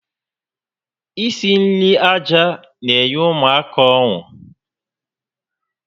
Isi nri aja n'enye ụmụaka ọṅụ